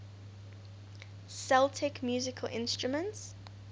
celtic musical instruments